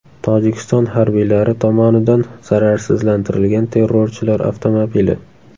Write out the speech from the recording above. Tojikiston harbiylari tomonidan zararsizlantirilgan terrorchilar avtomobili.